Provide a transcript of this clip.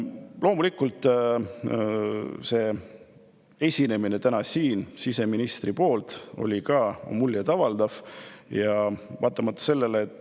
Loomulikult oli siseministri tänane esinemine muljet avaldav.